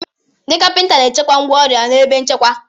Ndị kapịnta na-echekwa ngwá ọrụ ha n'ebe nchekwa.